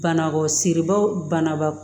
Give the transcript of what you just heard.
Banakɔ siribaw banaba